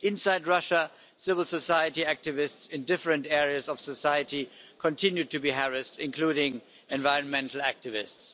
Inside Russia, civil society activists in different areas of society continue to be harassed, including environmental activists.